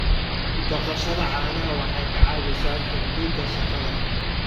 Dhaqashada caanaha waxay ka caawisaa kordhinta shaqada.